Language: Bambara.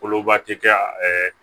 Koloba ti kɛ